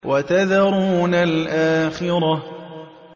وَتَذَرُونَ الْآخِرَةَ